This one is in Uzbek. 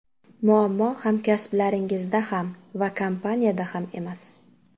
Muammo hamkasblaringizda ham va kompaniyada ham emas.